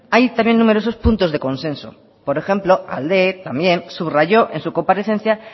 hay también numerosos puntos de consenso por ejemplo también subrayó en su comparecencia